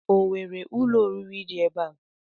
O nwere ụlọ oriri dị ebe a?